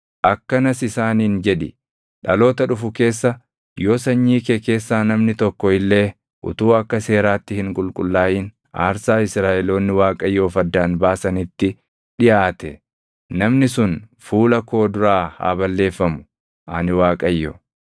“Akkanas Isaaniin jedhi: ‘Dhaloota dhufu keessa yoo sanyii kee keessaa namni tokko illee utuu akka seeraatti hin qulqullaaʼin aarsaa Israaʼeloonni Waaqayyoof addaan baasanitti dhiʼaate namni sun fuula koo duraa haa balleeffamu. Ani Waaqayyo.